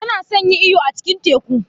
Tana son yin iyo a cikin teku.